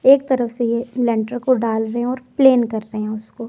एक तरफ से लेंटर को डाल रहे हैं और प्लेन कर रहे हैं उसको।